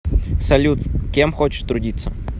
салют кем хочешь трудиться